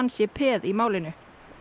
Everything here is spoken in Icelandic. sé peð í málinu